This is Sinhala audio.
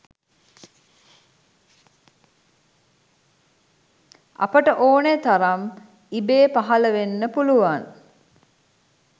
අපට ඕනෙ තරම් ඉබේ පහළ වෙන්න පුළුවන්